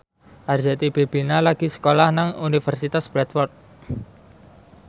Arzetti Bilbina lagi sekolah nang Universitas Bradford